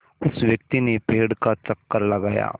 उस व्यक्ति ने पेड़ का चक्कर लगाया